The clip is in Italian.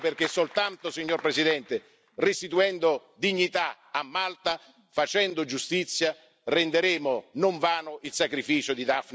Ecco perché soltanto, Signor Presidente, restituendo dignità a Malta, facendo giustizia, renderemo non vano il sacrificio di Daphne Caruana Galizia.